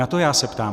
Na to já se ptám.